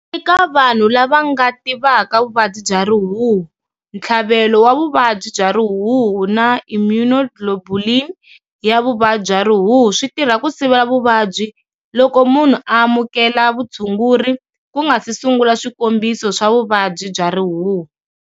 Eka vanhu lava nga tivaka vuvabyi bya rihuhu, ntlhavelo wa vuvabyi bya rihuhu na immunoglobulin ya vuvabyi bya rihuhu swi tirha ku siva vuvabyi loko munhu a amukela vutshunguri ku nga si sungula swikombiso swa vuvabyi bya rihuhu.